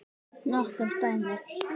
Nokkur dæmi.